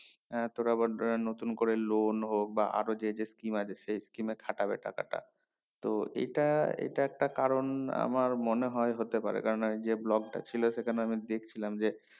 তোরা বড্ডো আহ নতুন করে loan হোক বা আরো যে যে scheme আছে সেই scheme এ খাটাবে টাকাটা তো এটা এটা একটা করুন আমার মনে হয় হতে পাবে কেননা এই যে block টা ছিল সেখানে আমি দেখছিলাম যে